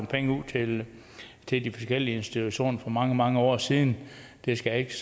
penge ud til de forskellige institutioner for mange mange år siden det skal jeg ikke